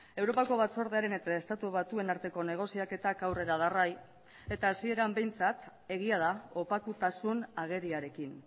europako batzordearen eta estatu batuen arteko negoziaketak aurrera darrai eta hasieran behintzat egia da opakutasun ageriarekin